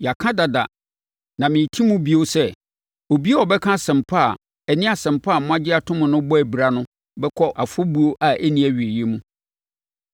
Yɛaka dada na mereti mu bio sɛ: Obiara a ɔbɛka asɛmpa a ɛne Asɛmpa a moagye atom no bɔ abira no bɛkɔ afɔbuo a ɛnni awieeɛ mu.